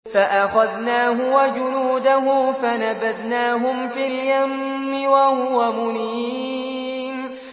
فَأَخَذْنَاهُ وَجُنُودَهُ فَنَبَذْنَاهُمْ فِي الْيَمِّ وَهُوَ مُلِيمٌ